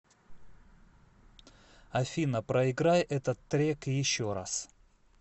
афина проиграй этот трек еще раз